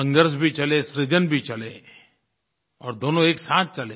संघर्ष भी चले सृजन भी चले और दोनों एक साथ चले